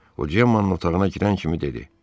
O Cemmanın otağına girən kimi dedi.